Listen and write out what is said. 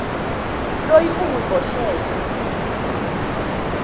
loyi u n wi boxeke